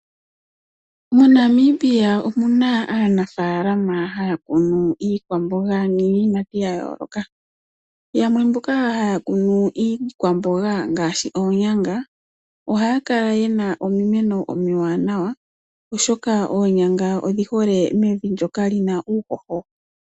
MoNamibia omuna aanafaalama haya kunu iikwamboga niiyimati yayooloka. Yamwe mboka haya kunu iikwamboga ngaashi oonyanga, ohaya kala yena omimeno omiwanawa oshoka oonyanga odhihole mevi ndjoka lina uuhoho.